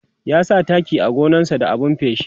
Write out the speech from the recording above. ya sa taki a gonan sa da abun feshi